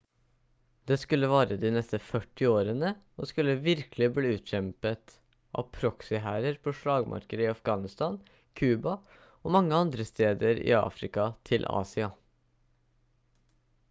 det skulle vare de neste 40 årene og skulle virkelig bli utkjempet av proxyhærer på slagmarker i afghanistan cuba og mange andre steder i afrika til asia